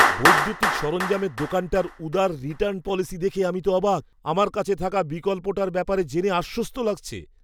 বৈদ্যুতিক সরঞ্জামের দোকানটার উদার রিটার্ণ পলিসি দেখে আমি তো অবাক; আমার কাছে থাকা বিকল্পটার ব্যাপারে জেনে আশ্বস্ত লাগছে।